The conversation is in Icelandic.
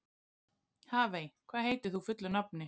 Hafey, hvað heitir þú fullu nafni?